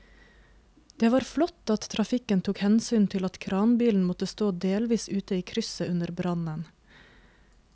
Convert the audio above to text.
Det var flott at trafikken tok hensyn til at kranbilen måtte stå delvis ute i krysset under brannen.